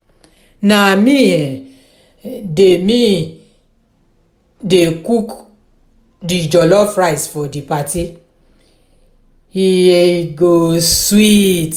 na me um dey me um dey cook di jollof rice for di party e um go sweet.